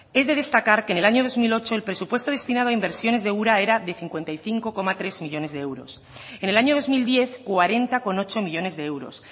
es de destacar que en el año dos mil ocho el presupuesto destinado a inversiones de ura era de cincuenta y cinco coma tres millónes de euros en el año dos mil diez cuarenta coma ocho millónes de euros